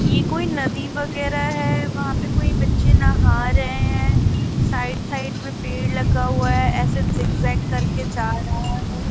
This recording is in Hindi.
ये कोई नदी वगैरह है वहां पे कोई बच्चे नहा रहे हैं साइड साइड में पेड़ लगा हुआ है ऐसे जिगजैग करके जा रहा है.